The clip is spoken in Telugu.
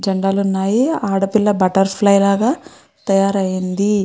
జెండాలు ఉన్నాయి ఆడపిల్ల బట్టర్ ఫ్లై లాగా తయారు అయింది.